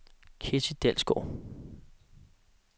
Ketty Dalsgaard